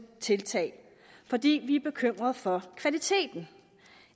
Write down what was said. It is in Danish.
tiltag fordi vi er bekymret for kvaliteten